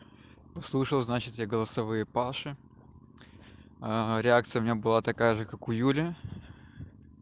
услышал значит я голосовые паши реакция у меня была такая же как у юли